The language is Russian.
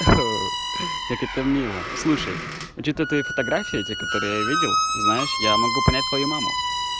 как это мило слушай на счёт той фотографии те которые я видел знаешь я могу понять твою маму